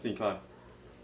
Sim, claro.